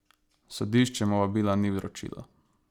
Sodišče mu vabila ni vročilo.